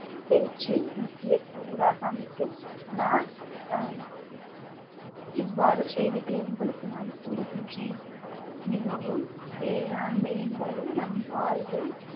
பேச்சையும் முக்கிய கூறாக அமைத்தும் நான் அஹ் இவ்வாறு செய்திகளை உங்களுக்கு நான் கூறுகின்றேன் மிகவும் வேளாண்மை என்பது நம் வாழ்வின்